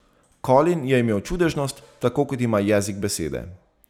Colin je imel čudežnost, tako kot ima jezik besede.